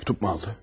Mektup mu aldı?